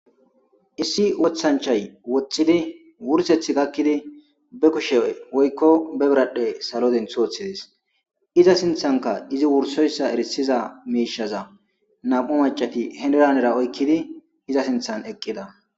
Issi wottanchay woxxid wursethi gaakid be kushshe woykko be bradhdhe salo denttidi wottides. Izza sinthanikka izzi wursoyssa ersizaysa mishhaza nammu' maccathi henira henira oykkid izza sinthan eqidda.